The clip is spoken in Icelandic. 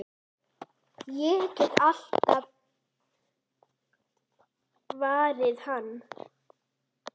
Ég get alltaf varið hana!